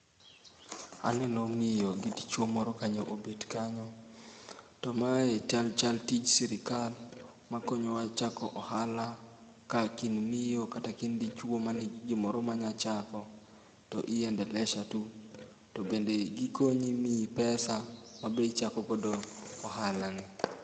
Aneno miyo gi dichuo moro kanyo obet kanyo. To mae chal chal tij sirkal makonyowa chako ohala ka kind miyo kata kind dichuo man gigimoro manyalo chako to iendelesha tu to bende gikonyi miyi pesa ma be ichako go ohalani.